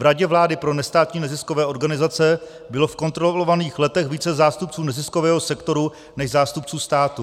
V Radě vlády pro nestátní neziskové organizace bylo v kontrolovaných letech více zástupců neziskového sektoru než zástupců státu.